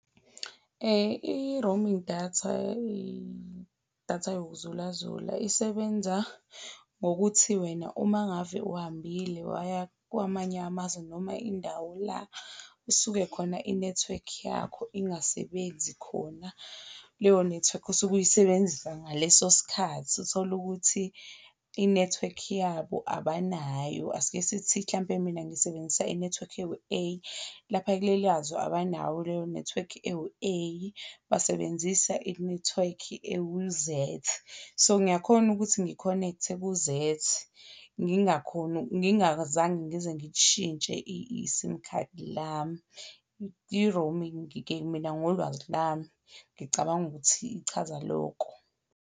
I-roaming datha, idatha yoku zula zula isebenza ngokuthi wena uma ngabe uhambile waya kwamanye amazwe noma indawo la isuke khona inethiwekhi yakho ingasebenzi khona leyo nethiwekhi osuke uyisebenzisa ngaleso skhathi uthole ukuthi inethiwekhi yabo abanayo, asike sithi hlampe mina ngisebenzisa inethiwekhi ewu-A, lapha kuleliyazwe abanayo leyo Network ewu-A basebenzisa inethiwekhi ewu-Z, So ngiyakhona ukuthi ngi-connect-e ku-Z ngingazange ngize ngilishintshe i-sim khadi lami. I-roaming-ke mina ngolwazi lami ngicabanga ukuthi ichaza loko.